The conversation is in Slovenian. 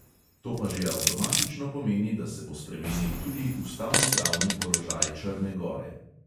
To pa že avtomatično pomeni, da se bo spremenil tudi ustavnopravni položaj črne gore.